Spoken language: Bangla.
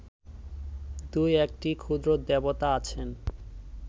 দুই একটি ক্ষুদ্র দেবতা আছেন